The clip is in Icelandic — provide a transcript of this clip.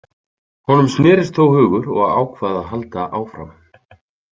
Honum snérist þó hugur og ákvað að halda áfram.